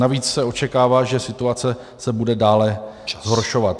Navíc se očekává, že situace se bude dále zhoršovat.